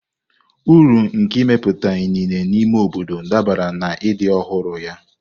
Uru nke imepụta inine n'ime obodo dabere na ịdị ọhụrụ ya.